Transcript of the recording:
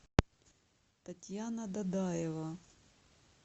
татьяна дадаева